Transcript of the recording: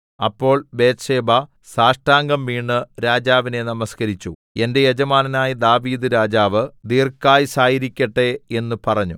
അപ്പോൾ ബത്ത്ശേബ സാഷ്ടാംഗം വീണ് രാജാവിനെ നമസ്കരിച്ച് എന്റെ യജമാനനായ ദാവീദ്‌ രാജാവ് ദീർഘായുസ്സായിരിക്കട്ടെ എന്ന് പറഞ്ഞു